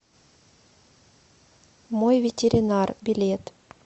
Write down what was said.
мой ветеринар билет